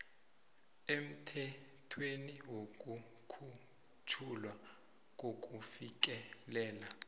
emthethweni wokukhutjhulwa kokufikelela